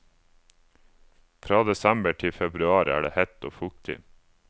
Fra desember til februar er det hett og fuktig.